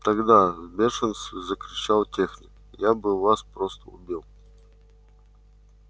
тогда в бешенстве закричал техник я бы вас просто убил